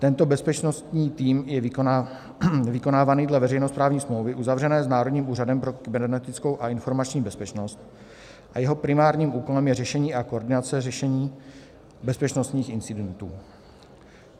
Tento bezpečnostní tým je vykonávaný dle veřejnoprávní smlouvy uzavřené s Národním úřadem pro kybernetickou a informační bezpečnost a jeho primárním úkolem je řešení a koordinace řešení bezpečnostních incidentů.